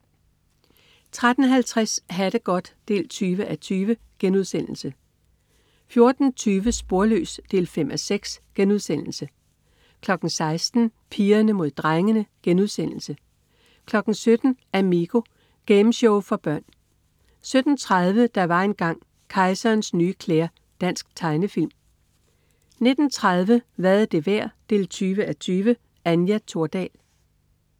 13.50 Ha' det godt 20:20* 14.20 Sporløs 5:6* 16.00 Pigerne Mod Drengene* 17.00 Amigo. Gameshow for børn 17.30 Der var engang ... Kejserens nye klæder. Dansk tegnefilm 19.30 Hvad er det værd? 20:20. Anja Thordal